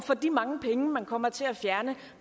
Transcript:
for de mange penge man kommer til at fjerne